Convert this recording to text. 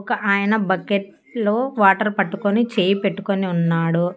ఒక ఆయన బక్కెట్ లో వాటర్ పట్టుకొని చేయి పెట్టుకొని ఉన్నాడు.